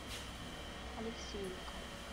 алексеевка